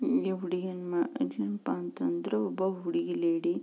ಇಲ್ಲಿ ಹುಡುಗಿಯನ್ನು ಅದೇನಪ್ಪ ಅಂತಂದ್ರು ಒಬ್ಬ ಹುಡುಗಿ ಲೇಡಿ --